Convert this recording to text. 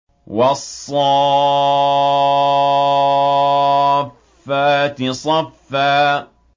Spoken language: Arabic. وَالصَّافَّاتِ صَفًّا